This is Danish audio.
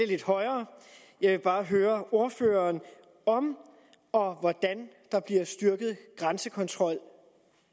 lidt højere jeg vil bare høre ordføreren om og hvordan der bliver styrket grænsekontrol